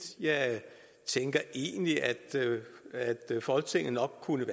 jeg tænker egentlig at folketinget nok kunne